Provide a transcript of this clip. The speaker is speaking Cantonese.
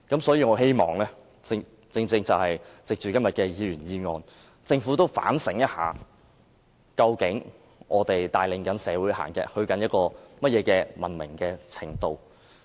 所以，我希望藉着今天的議員議案，讓政府反省一下，究竟我們帶領社會走向哪種文明程度。